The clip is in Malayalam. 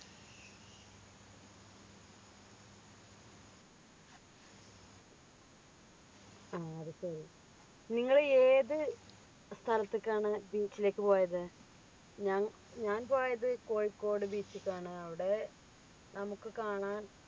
ഹാ അത് ശെരി നിങ്ങൾ ഏത് സ്ഥലത്തേക്കാണ് beach ലേക്ക് പോയത് ഞാൻ ഞാൻ പോയത് കോഴിക്കോട് beach ക്കാണ് അവിടെ നമുക്ക് കാണാൻ